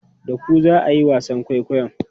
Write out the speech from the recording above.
Da ku za a yi wasan kwaikwayon?